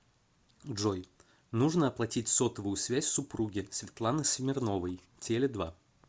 джой нужно оплатить сотовую связь супруги светланы смирновой теле два